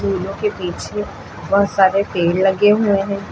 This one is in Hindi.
सीढ़ियों के पीछे बहोत सारे पेड़ लगे हुए हैं।